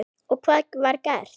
Og hvað var gert?